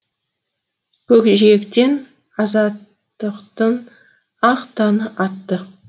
көкжиектен азаттықтың ақ таңы атты